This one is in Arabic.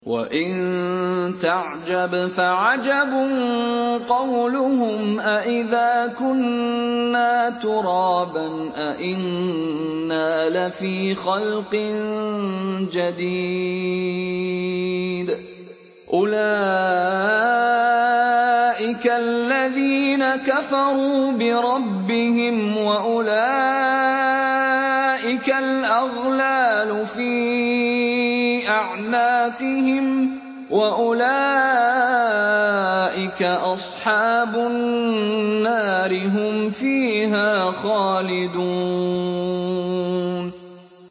۞ وَإِن تَعْجَبْ فَعَجَبٌ قَوْلُهُمْ أَإِذَا كُنَّا تُرَابًا أَإِنَّا لَفِي خَلْقٍ جَدِيدٍ ۗ أُولَٰئِكَ الَّذِينَ كَفَرُوا بِرَبِّهِمْ ۖ وَأُولَٰئِكَ الْأَغْلَالُ فِي أَعْنَاقِهِمْ ۖ وَأُولَٰئِكَ أَصْحَابُ النَّارِ ۖ هُمْ فِيهَا خَالِدُونَ